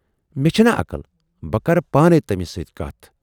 مےٚ چھَنا عقل۔ بہٕ کَرٕ پانے تٔمِس سۭتۍ کَتھ۔